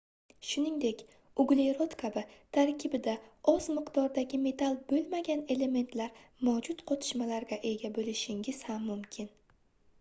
shuningdek uglerod kabi tarkibida oz miqdordagi metall boʻlmagan elementlar mavjud qotishmalarga ega boʻlishingiz ham mumkin